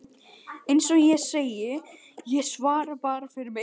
Eins og ég segi: Ég svara bara fyrir mig.